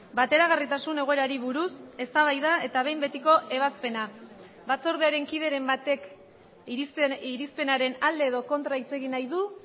bateragarritasun egoerari buruz eztabaida eta behin betiko ebazpena batzordearen kideren batek irizpenaren alde edo kontra hitz egin nahi du